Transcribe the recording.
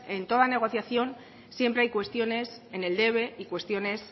en toda negociación siempre hay cuestiones en el debe y cuestiones